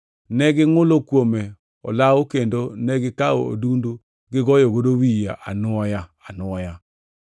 Ne gingʼulo kuome olawo kendo negikawo odundu gigoyogo wiye anwoya anwoya.